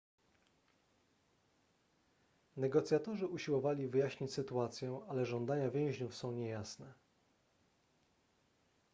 negocjatorzy usiłowali wyjaśnić sytuację ale żądania więźniów są niejasne